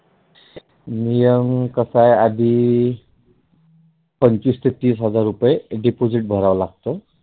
नियम कस आहे आधी पंचवीस टक्के हजार रुपए Deposit भराव लागत.